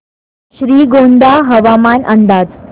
श्रीगोंदा हवामान अंदाज